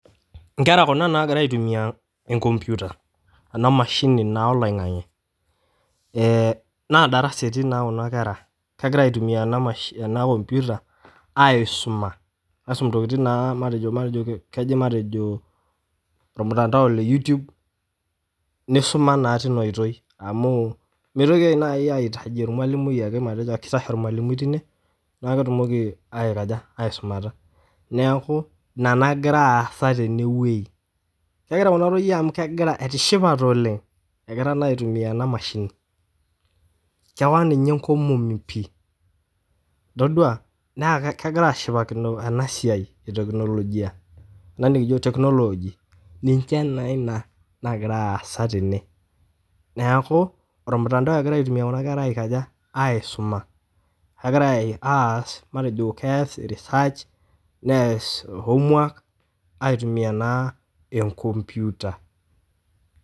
Inkerra kuna naagira aitumiya enkompyuta, ana mashini naa eloing'ang'e, na darasa etii naa kuna kerra, kegira aitumiyaa ana nkompyuta aisuma, aisom ntokitin naa matejo olmutandao le youtube neisuma naa teina oitoi amuu meitoki naii aitaji ormwalimui ake teine naa ketumoki aikoj aisumata, naaku ina nagira aasa teneweji, naaa egira kuna toiye amu etishipate oleng, egitra naa aitumiya ena mashini, kewang' ninye nkomomi pii, itadua naa kegira aashipatakino ena siaai etekinoloji ana nikijo teknolooji ninche naa ina nagira aasa tene, naaku ormutandao egira aitumiya kuna kerra aikoja aisuma, egira aasa matejo keas research neas homework aitumiya naa enkompyuta.